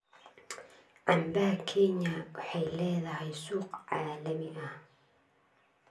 Canbaha Kenya waxay leedahay suuq caalami ah.